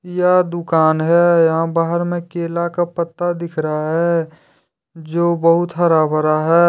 यह दुकान है यहां बाहर में केला का पत्ता दिख रहा है जो बहुत हरा भरा है।